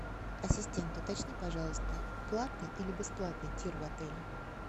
ассистент уточни пожалуйста платный или бесплатный тир в отеле